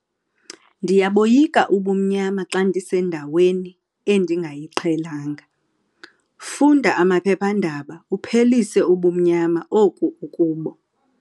Ndiyaboyika ubumnyama xa ndisendaweni endingayiqhelanga. funda amaphephandaba uphelise ubumnyama oku ukubo